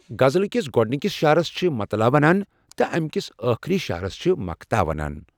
غزلہ کِس گۄڑنکس شعرس چھ مَطلَع ونان تہ اَمہِ کس ٲخری شعرس چھ مَقطع ونان